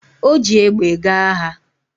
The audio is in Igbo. O ji egbe gaa agha